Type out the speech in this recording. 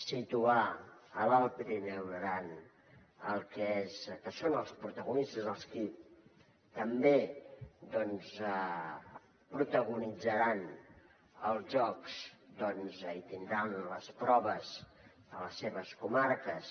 situar l’alt pirineu i l’aran que són els protagonistes els qui també protagonitzaran els jocs tindran les proves a les seves comarques